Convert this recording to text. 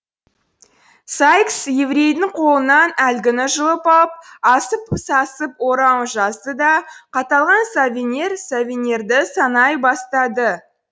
сайкс еврейдің қолынан әлгіні жұлып алып асып сасып орауын жазды да қатталған соверенді санай бастады